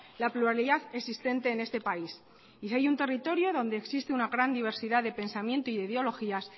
la pluralidad existente en este país y si hay un territorio donde existe una gran diversidad de pensamiento y de ideologías